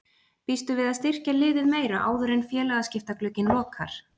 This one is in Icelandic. Býstu við að styrkja liðið meira áður en félagaskiptaglugginn lokar?